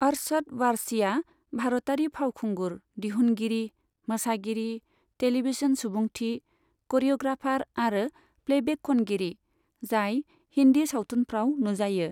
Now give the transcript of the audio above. अरशद वारसीआ भारतारि फावखुंगुर, दिहुनगिरि, मोसागिरि, टेलीभिजन सुबुंथि, क'रिय'ग्राफार आरो प्लेबेक खनगिरि, जाय हिन्दी सावथुनफ्राव नुजायो।